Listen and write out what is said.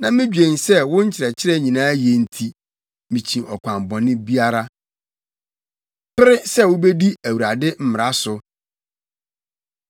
na midwen sɛ wo nkyerɛkyerɛ nyinaa ye nti, mikyi ɔkwan bɔne biara. Pere Sɛ Wubedi Awurade Mmara So